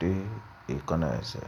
dé èékánná ẹsẹ̀